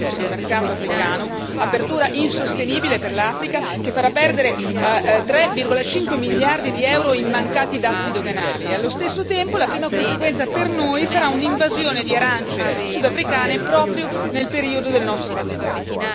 del mercato africano, apertura insostenibile per l'Africa, che farà perdere 3,5 miliardi di euro in mancati dazi doganali e allo stesso tempo la prima conseguenza per noi sarà un'invasione di arance sudafricane proprio nel periodo del nostro raccolto.